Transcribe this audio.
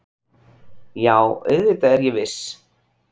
Já, auðvitað er ég viss